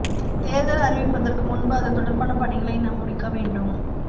தேர்தல் அறிவப்பதற்கு முன்பு அதுதொடர்பான பணிகளை நாம் முடிக்க வேண்டும்